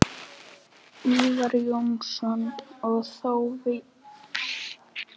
Ívar Jónsson og þó víðar væri leitað Besti íþróttafréttamaðurinn?